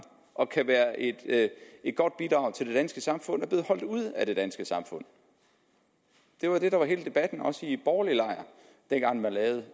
og kan være et godt bidrag til det danske samfund er blevet holdt ude af det danske samfund det var det der var hele debatten også i den borgerlige lejr dengang man lavede